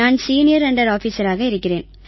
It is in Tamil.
சீனியர் அண்டர் ஆஃபீசராக இருக்கிறேன்